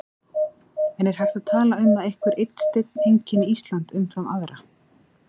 En er hægt að tala um að einhver einn steinn einkenni Ísland umfram aðra?